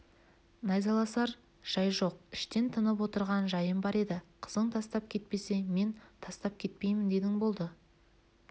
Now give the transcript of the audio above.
найзаласар жай жоқ іштен тынып отырған жайым бар еді қызың тастап кетпесе мен тастап кетпеймін дедің болды